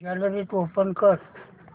gallery open कर